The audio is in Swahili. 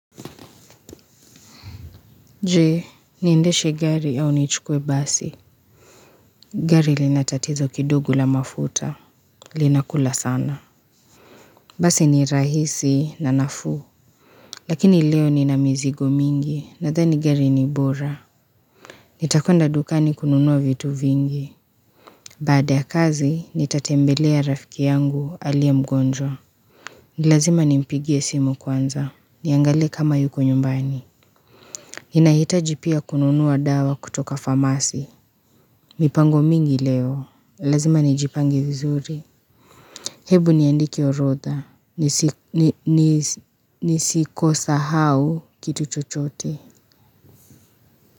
Jee, niendeshe gari ya unichukwe basi. Gari linatatizo kidogo la mafuta. Linakula sana. Basi ni rahisi na nafuu. Lakini leo ni na mizigo mingi na zani gari ni bora. Nitakonda dukani kununua vitu vingi. Baada ya kazi, nitatembelea rafiki yangu alia mgonjwa. Nilazima ni mpigie simu kwanza. Niangale kama yuko nyumbani. Ninahitaji pia kununua dawa kutoka farmasi. Mipango mingi leo, lazima nijipangi vizuri Hebu niandiki orotha, nisikosa hau kitu chochote.